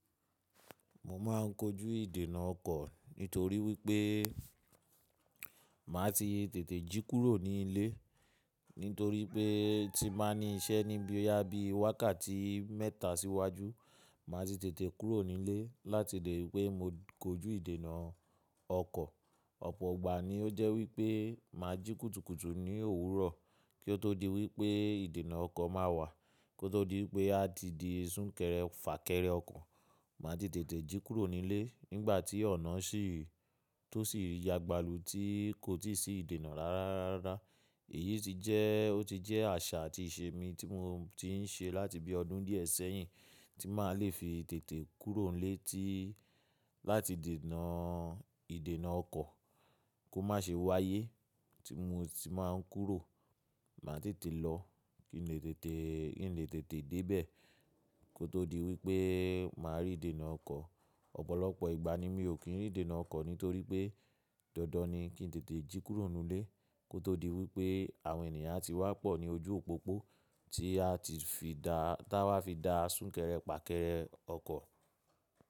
Mo ma n kojú ìdènà ọkọ̀ nítorí wípé màá ti tètè jí kúrò ní ilé nítorí pé tí n bàá ní iṣẹ́ ní boyá bí wákàtí mẹ́ta síwájú, màá ti tètè kúrò ní ilé láti lè rípé mo kojú ìdènà ọkọ̀. Ọ̀pọ̀ ìgbà ni ó jẹ́ wípé màá jí kùtùkùtù ní òwúrọ̀ kí ó tó di wípé ìdènà ọkọ̀ máa wà kí ó tó di wípé a ti di súnkẹrẹ fà kẹrẹ ọkọ̀. Màá ti tètè jí kúrò ní ilé nígbà tí ọ̀nà sì tó sì yagbalù tí kò tíì sí ìdènà rárá. Èyí sì jẹ́, ó ti jẹ́ àṣà àti ìṣe mi tí mo ti n ṣe láti bí ọdún díẹ̀ sẹ́yìn tí màá le fi tètè kúrò nílé láti dènà, ìdènà ọkọ̀ kó má ṣe wáyé tí mo sì máa ń kúrò. Màá tètè lọ kí n lè tètè, kí n lè tètè dé bẹ̀ kí ó tó di wípé màá rí ìdènà ọkọ̀. Ọ̀pọ̀lọpọ̀ ìgbà ni mi ò kí ń rí ìdènà ọkọ̀ nítorí pé dandan ni kí n tètè jí kúrò nínú ilé kí ó tó di wípé àwọn ènìyàn a tí wá pọ̀ ní ojú òpópó tí a ti fi dá, táa wá fi da súnkẹrẹ fà kẹrẹ ọkọ̀.